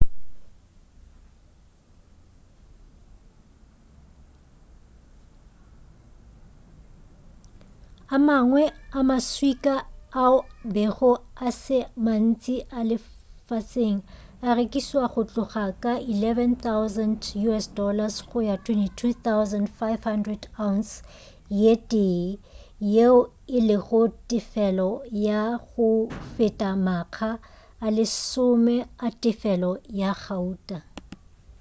a mangwe a ma swika ao a bego a se a mantši lefaseng a rekišwa go tloga ka us$11,000 go ya go $22,500 ounce ye tee yeo e lego tefelo ya go feta makga a lesome a tefelo ya gauta